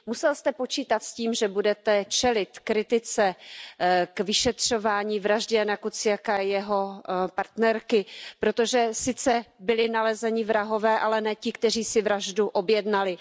Musel jste počítat s tím, že budete čelit kritice k vyšetřování vraždy Jána Kuciaka a jeho partnerky, protože sice byli nalezeni vrahové, ale ne ti, kteří si vraždu objednali.